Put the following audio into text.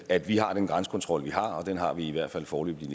at vi har den grænsekontrol vi har og den har vi i hvert fald foreløbig